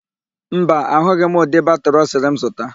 Mba, ahụghị m ụdị batịrị ọ sịrị m zụta.